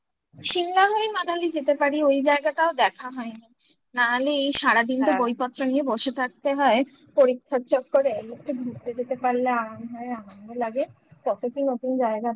Simla হয়ে Manali যেতে পারি ওই জায়গাটাও দেখা হয় না হলে এই সারাদিন তো বইপত্র নিয়ে বসে থাকতে হয় পরীক্ষার চক্করে ঘুরতে যেতে পারলে আরাম হয় আমাকে লাগে কতদিন নতুন জায়গা দেখাবো